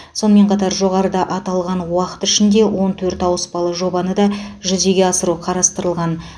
сонымен қатар жоғарыда аталған уақыт ішінде он төрт ауыспалы жобаны да жүзеге асыру қарастырылған